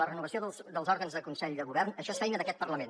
la renovació dels òrgans del consell de govern això és feina d’aquest parlament